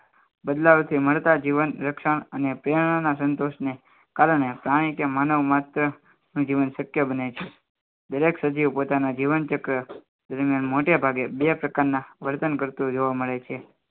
બદલાવથી મળતા જીવન રક્ષણ અને પ્રેરણા ના સંતોષને કારણે પ્રાણી કે માનવ માત્ર જીવન શક્ય બને છે દરેક સજીવ પોતાના જીવન ચક્ર મોટેભાગે બે પ્રકારના વર્તન કરતો જોવા મળે છે